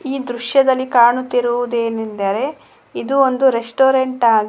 ಈ ದೃಶ್ಯದಲ್ಲಿ ಕಾಣುತ್ತಿರುವುದೇನೆಂದರೆ ಇದು ಒಂದು ರೆಸ್ಟೋರೆಂಟ್ ಆಗಿ--